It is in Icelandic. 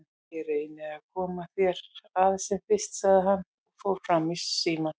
Ég reyni að koma þér að sem fyrst, sagði hann og fór fram í símann.